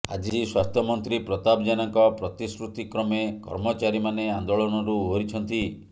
ଆଜି ସ୍ୱାସ୍ଥ୍ୟ ମନ୍ତ୍ରୀ ପ୍ରତାପ ଜେନାଙ୍କ ପ୍ରତିଶ୍ରୁତି କ୍ରମେ କର୍ମଚାରୀମାନେ ଆନ୍ଦୋଳନରୁ ଓହରିଛନ୍ତି